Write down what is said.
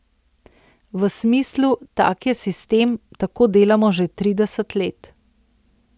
V smislu, tak je sistem, tako delamo že trideset let.